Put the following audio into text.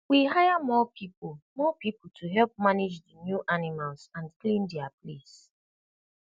we hire more people more people to help manage the new animals and clean their place